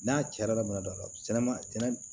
N'a carin bɛna don a la sɛnɛma sɛnɛ